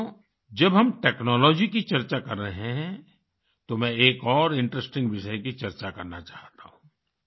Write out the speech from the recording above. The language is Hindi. साथियो जब हम टेक्नोलॉजी की चर्चा कर रहे हैं तो मैं एक और इंटरेस्टिंग विषय की चर्चा करना चाहता हूँ